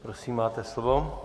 Prosím, máte slovo.